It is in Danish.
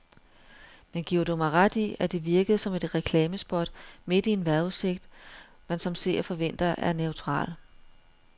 Men giver du mig ret i, at det virkede som et reklamespot midt i en vejrudsigt, man som seer forventer er neutral.